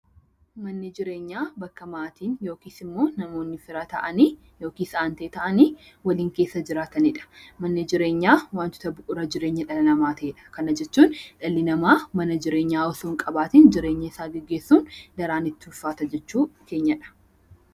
Manni jireenyaa bakka maatiin yookiis immoo namoonni fira ta'an yookiis aantee ta'an waliin keessa jiraatanidha. Manni jireenyaa wantoota bu'uura jireenya dhala namaa ta'edha, kana jechuun dhalli namaa mana jireenyaa otoo hin qabaatiin jireenya isaa gaggeessuun daraan itti jabaata jechuudha.